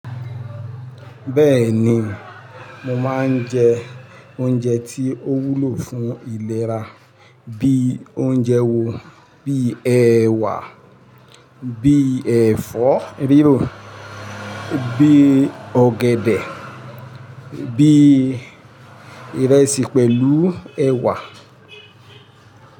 Bẹ́ẹ̀ni, mo máa ń jẹ oúnjẹ tí ó wúlò fún ìlera bí i oúnjẹ wo, bíi ẹwà, bíi ẹ̀fọ́ rírò, bíi ọ̀gẹ̀dẹ̀, bíi ìrẹsì pẹ̀lú ẹ̀wà.